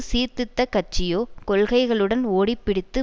சீர்திருத்த கட்சியோ கொள்கைகளுடன் ஓடிப்பிடித்து